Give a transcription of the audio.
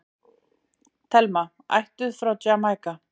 Thelma, ættuð frá Jamaíka.